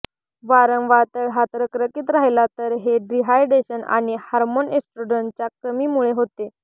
वारंवार तळहात रखरखीत राहिला तर हे डिहायड्रेशन आणि हार्मोन एस्ट्रोडनच्या कमी मुळे होते